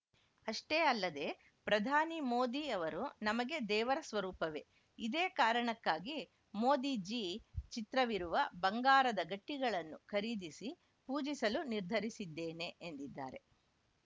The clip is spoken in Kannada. ಅಷ್ಟೇ ಅಲ್ಲದೆ ಪ್ರಧಾನಿ ಮೋದಿ ಅವರು ನಮಗೆ ದೇವರ ಸ್ವರೂಪವೇ ಇದೇ ಕಾರಣಕ್ಕಾಗಿ ಮೋದಿ ಜೀ ಚಿತ್ರವಿರುವ ಬಂಗಾರದ ಗಟ್ಟಿಗಳನ್ನು ಖರೀದಿಸಿ ಪೂಜಿಸಲು ನಿರ್ಧರಿಸಿದ್ದೇನೆ ಎಂದಿದ್ದಾರೆ